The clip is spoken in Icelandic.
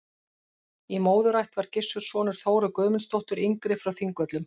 Í móðurætt var Gissur sonur Þóru Guðmundsdóttur yngri frá Þingvöllum.